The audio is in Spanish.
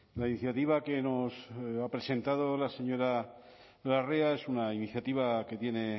la iniciativa que nos ha presentado la señora larrea es una iniciativa que tiene